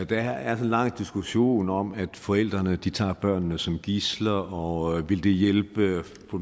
der er en lang diskussion om at forældrene tager børnene som gidsler og om det ville hjælpe med at få